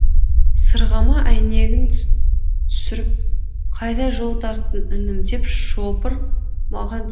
сырғыма әйнегін түсіріп қайда жол тарттың інім деп шопыр маған телміре қарай